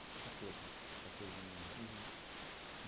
Catorze. Catorze anos de idade